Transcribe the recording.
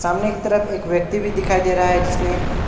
सामने की तरफ एक व्यक्ति भी दिखाई दे रहा है जिसने--